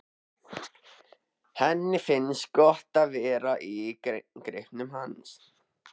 Henni finnst gott að vera í greipum hans.